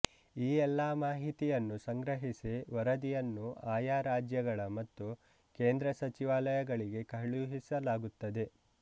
ಈ ಎಲ್ಲಾ ಮಾಹಿತಿಯನ್ನು ಸಂಗ್ರಹಿಸಿ ವರದಿಯನ್ನು ಆಯಾ ರಾಜ್ಯಗಳು ಮತ್ತು ಕೇಂದ್ರ ಸಚಿವಾಲಯಗಳಿಗೆ ಕಳುಹಿಸಲಾಗುತ್ತದೆ